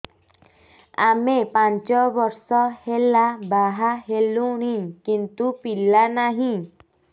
ଆମେ ପାଞ୍ଚ ବର୍ଷ ହେଲା ବାହା ହେଲୁଣି କିନ୍ତୁ ପିଲା ନାହିଁ